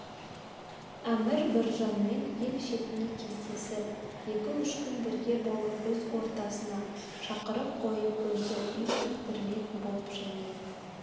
әмір біржанмен ел шетінде кездесіп екі-үш күн бірге болып өз ортасына шақырып қойып өзі үй тіктірмек боп және